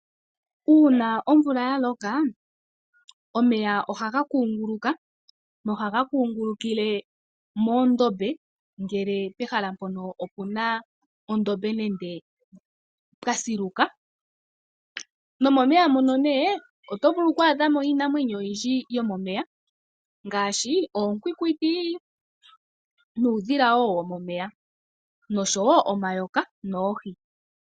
Uuna omvula ya loka, omeya ohaga kuunguluka nohaga kuungulukile moondombe, ngele pehala mpoka opu na oondombe nenge pwa siluka. Momeya moka oto vulu oku adha mo iinamwenyo oyindji yomomeya ngaashi oonkwinkwiti nuudhila womomeya noshowo omayoka noohi.